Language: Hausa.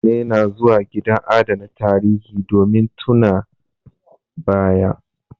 Mutane na zuwa gidan adana tarihi, domin tuna ba ya